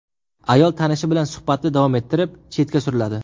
Ayol tanishi bilan suhbatni davom ettirib, chetga suriladi.